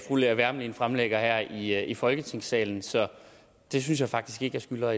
fru lea wermelin fremlægger her i folketingssalen så det synes jeg faktisk ikke jeg skylder